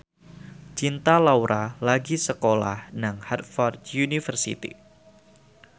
Cinta Laura lagi sekolah nang Harvard university